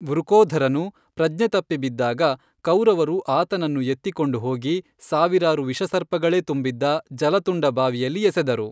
ವೃಕೋಧರನು ಪ್ರಜ್ಞೆ ತಪ್ಪಿ ಬಿದ್ದಾಗ, ಕೌರವರು ಆತನನ್ನು ಎತ್ತಿಕೊಂಡು ಹೋಗಿ ಸಾವಿರಾರು ವಿಷಸರ್ಪಗಳೇ ತುಂಬಿದ್ದ ಜಲತುಂಡ ಬಾವಿಯಲ್ಲಿ ಎಸೆದರು.